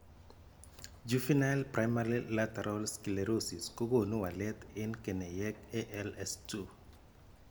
Juvenile primary lateral scelerosis kokoonu walrt en keneyeek ALS2.